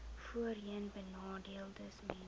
voorheenbenadeeldesmense